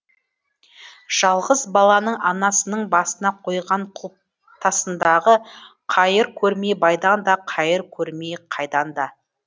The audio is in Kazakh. жалғыз баланың анасының басына қойған құлпытасындағы қайыр көрмей байдан да қайыр көрмей қайдан да